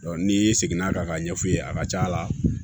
n'i seginna a kan ka ɲɛf'u ye a ka ca ala fɛ